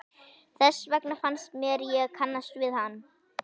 Þess vegna fannst mér ég kannast við hann.